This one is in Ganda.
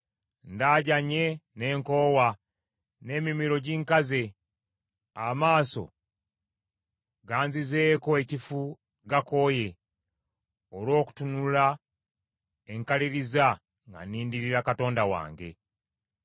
Ndajanye ne nkoowa, n’emimiro ginkaze. Amaaso ganzizeeko ekifu gakooye olw’okutunula enkaliriza nga nnindirira Katonda wange.